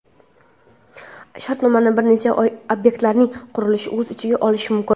shartnoma bir necha obyektlarning qurilishini o‘z ichiga olishi mumkin.